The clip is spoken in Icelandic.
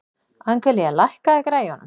Angelía, lækkaðu í græjunum.